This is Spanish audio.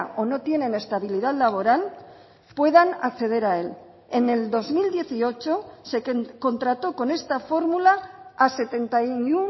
o no tienen estabilidad laboral puedan acceder a él en el dos mil dieciocho se contrató con esta fórmula a setenta y